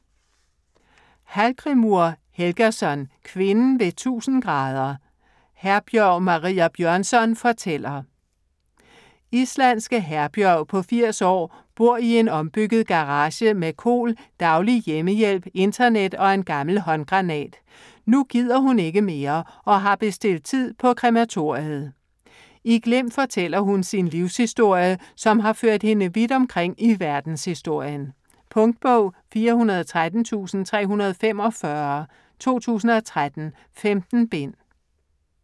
Hallgrímur Helgason: Kvinden ved 1000°: Herbjørg Maria Bjørnsson fortæller Islandske Herbjörg på 80 år bor i en ombygget garage med KOL, daglig hjemmehjælp, internet og en gammel håndgranat. Nu gider hun ikke mere og har bestilt tid på krematoriet. I glimt fortæller hun sin livshistorie, som har ført hende vidt omkring i verdenshistorien. Punktbog 413345 2013. 15 bind.